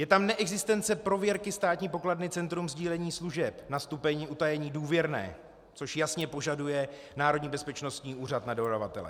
Je tam neexistence prověrky Státní pokladny Centrum sdílení služeb na stupeň utajení důvěrné, což jasně požaduje Národní bezpečnostní úřad na dodavatele.